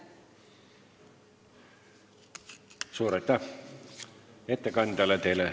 Suur aitäh ettekandjale!